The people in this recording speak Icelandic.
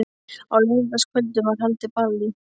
Á laugardagskvöldum var haldið ball í